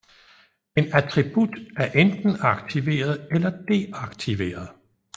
En attribut er enten aktiveret eller deaktiveret